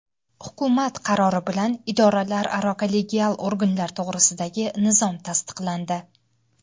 Hukumat qarori bilan Idoralararo kollegial organlar to‘g‘risidagi nizom tasdiqlandi.